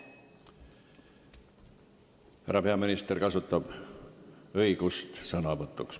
Härra peaminister kasutab õigust veel kord sõna võtta.